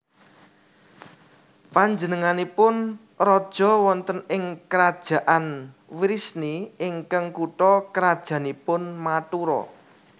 Panjenenganipun raja wonten ing Krajaan Wrisni ingkang kutha krajannipun Mathura